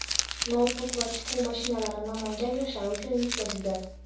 noutbuk va tikuv mashinalari Namangan yoshlari uchun yetkazildi.